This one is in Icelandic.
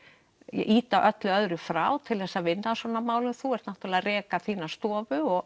ýta öllu öðru frá til að vinna að svona málum og þú ert að reka þína stofu og